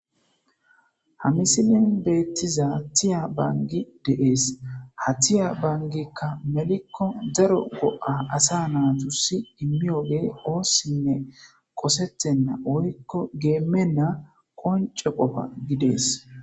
hamisiliyon beettiza tiya bangi deees ha tiya bangikka melikko daro go7a asa naatussi immiyogey oossinne qosettenna woykko geemenna qonco qofa gidees